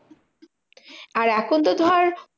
আর এখন তো ধর